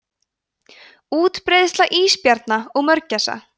útbreiðsla ísbjarna og mörgæsa